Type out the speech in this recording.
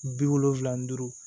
Bi wolonfila ni duuru